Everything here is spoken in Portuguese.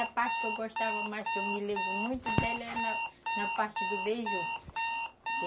A parte que eu gostava mais, que eu me lembro muito dela, é na, na parte do beiju.